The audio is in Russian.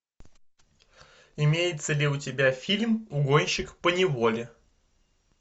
имеется ли у тебя фильм угонщик поневоле